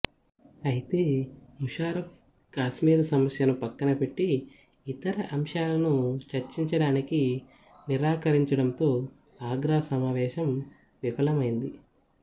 అయితే ముషారఫ్ కాశ్మీరు సమస్యను పక్కనపెట్టి ఇతర అంశాలను చర్చించడానికి నిరాకరించడంతో ఆగ్రా సమావేశం విఫలమైంది